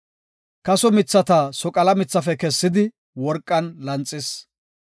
Kaso mithata soqala mithafe kessidi, worqan lanxis.